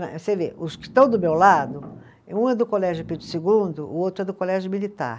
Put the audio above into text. Né, você vê, os que estão do meu lado, um é do Colégio Pedro segundo, o outro é do Colégio Militar.